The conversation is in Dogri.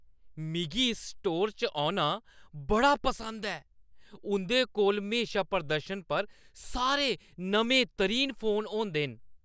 मिगी इस स्टोर औना बड़ा पसंद ऐ। उंʼदे कोल म्हेशा प्रदर्शन पर सारे नमेंतरीन फोन होंदे न।